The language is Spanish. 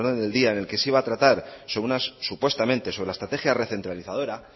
orden del día en el que se iba a tratar supuestamente sobre la estrategia recentralizadora